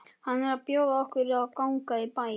Hann er að bjóða okkur að ganga í bæinn.